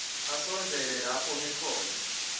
asondzele lapho ngikhona